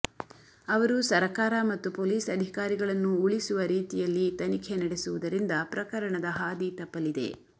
ಅವರು ಸರಕಾರ ಮತ್ತು ಪೋಲಿಸ ಅಧಿಕಾರಿಗಳನ್ನು ಉಳಿಸುವ ರೀತಿಯಲ್ಲಿ ತನಿಖೆ ನಡೆಸುವದರಿಂದ ಪ್ರಕರಣದ ಹಾದಿ ತಪ್ಪಲಿದೆ